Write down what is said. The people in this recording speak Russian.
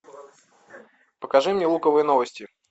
покажи мне луковые новости